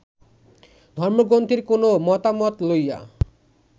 ধর্মগ্রন্থের কোন মতামত লইয়া